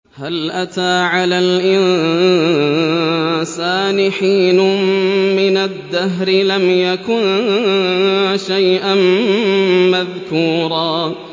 هَلْ أَتَىٰ عَلَى الْإِنسَانِ حِينٌ مِّنَ الدَّهْرِ لَمْ يَكُن شَيْئًا مَّذْكُورًا